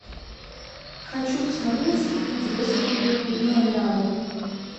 хочу посмотреть интересную мелодраму